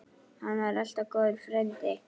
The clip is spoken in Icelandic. Hann var alltaf góður frændi.